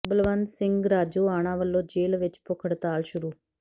ਬਲਵੰਤ ਸਿੰਘ ਰਾਜੋਆਣਾ ਵੱਲੋਂ ਜੇਲ੍ਹ ਵਿਚ ਭੁੱਖ ਹੜਤਾਲ ਸ਼ੁਰੂ